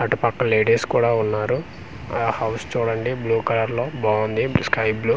అటు పక్క లేడీస్ కూడా ఉన్నారు ఆ హౌస్ చూడండి బ్లూ కలర్ లోబాగుంది స్కైబ్లూ .